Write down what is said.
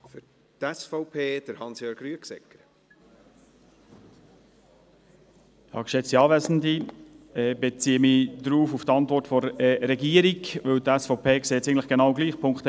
Ich beziehe mich auf die Antwort der Regierung, weil es die SVP eigentlich genau gleich sieht: